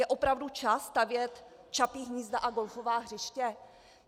Je opravdu čas stavět čapí hnízda a golfová hřiště?